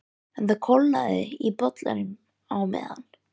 En það kólnaði í bollanum á meðan